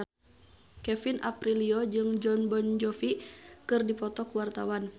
Kevin Aprilio jeung Jon Bon Jovi keur dipoto ku wartawan